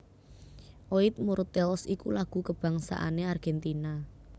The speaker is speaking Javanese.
Oid Mortales iku lagu kabangsané Argentina